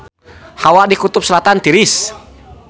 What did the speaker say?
Hawa di Kutub Selatan tiris